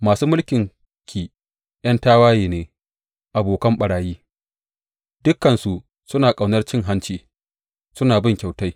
Masu mulkinki ’yan tawaye ne, abokan ɓarayi; dukansu suna ƙaunar cin hanci suna bin kyautai.